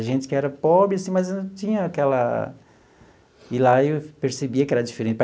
A gente que era pobre, assim, mas não tinha aquela... E lá eu percebia que era diferente.